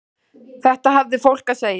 Þetta hafði fólk að segja.